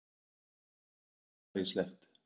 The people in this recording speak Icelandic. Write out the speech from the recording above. Það átti að vera nógu hallærislegt.